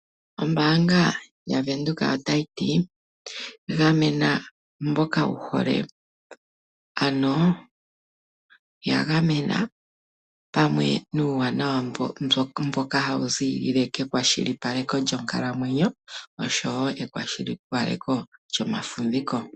Ombaanga ya Venduka otayi ti, gamena mboka wu hole, ano ya gamena pamwe nuuwanawa mboka hawu ziilile kekwashilipaleko lyonkalamwenyo, osho wo ekwashilipaleko lyomafumviko.